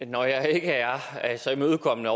når jeg ikke er så imødekommende